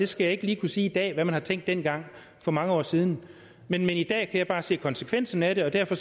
skal jeg ikke lige kunne sige i dag altså hvad man har tænkt dengang for mange år siden men i dag jeg bare se konsekvensen af det og derfor